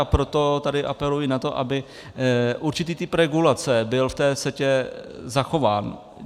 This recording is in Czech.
A proto tady apeluji na to, aby určitý typ regulace byl v té CETA zachován.